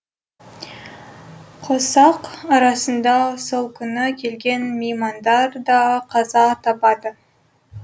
қосақ арасында сол күні келген меймандар да қаза табады